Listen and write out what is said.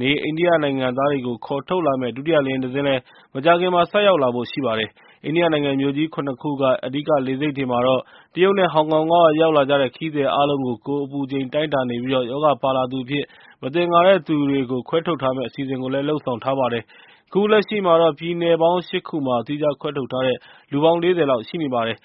နေ အိန္ဒိယနိုင်ငံသားတွေကို ခေါ်ထုတ်လာမယ့် ဒုတိယလေယာဉ်တစင်းလည်း မကြာခင် ဆိုက်ရောက်လာဖို့ ရှိပါတယ်။ အိန္ဒိယနိုင်ငံ မြို့ကြီး ၇ ခုက အဓိကလေဆိပ်တွေမှာတော့ တရုတ်နဲ့ ဟောင်ကောင်က ရောက်လာတဲ့ ခရီးသည်အားလုံးကို ကိုယ်အပူချိန် တိုင်းတာနေပြီး ရောဂါပါလာသူအဖြစ် မသင်္ကာသူတွေကို ခွဲထုတ်ထားမယ့် အစီအစဉ်တွေလည်း လုပ်ဆောင်ထားပါတယ်။ ခုလက်ရှိမှာတော့ ပြည်နယ်ပေါင်း ၈ ခုမှာ သီးခြားခွဲထုတ်ထားတဲ့ လူပေါင်း ၄၀ လောက် ရှိနေပါတယ်